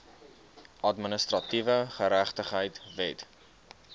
administratiewe geregtigheid wet